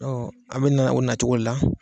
a bɛ na o nacogo de la.